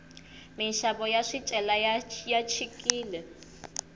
minxavo ya swicelwa ya chikile